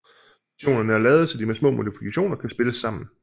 Versionerne er lavet så de med små modifikationer kan spilles sammen